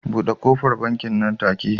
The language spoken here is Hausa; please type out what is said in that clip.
Bude kofar bankin nan take